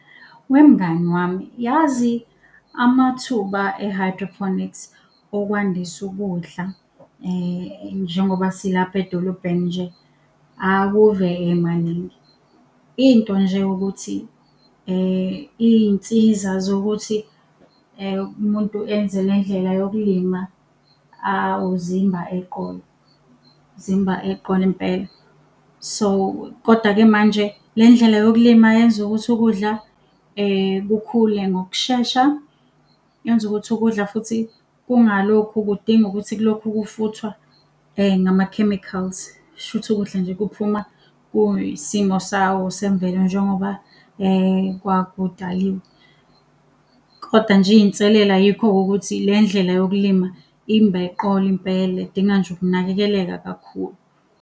Wemngani wami, yazi amathuba e-hydrophonics okwandisa ukudla, njengoba silapha edolobheni nje, akuve emaningi. Into nje ukuthi iy'nsiza zokuthi umuntu enze le ndlela yokulima awu zimba eqolo, zimba eqolo impela. So, kodwa-ke manje le ndlela yokulima yenza ukuthi ukudla kukhule ngokushesha, yenza ukuthi ukudla futhi kungalokhu kudinga ukuthi kulokhu kufuthwa ngama-chemicals. Shuthi ukudla nje kuphuma kuyisimo sawo semvelo njengoba kwakudaliwe. Kodwa nje iy'nselela yikho-ke ukuthi le ndlela yokulima imb'eqolo impela idinga nje ukunakekeleka kakhulu.